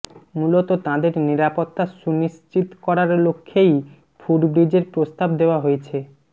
মূলত তাঁদের নিরাপত্তা সুনিশ্চিত করার লক্ষ্যেই ফুটব্রিজের প্রস্তাব দেওয়া হয়েছে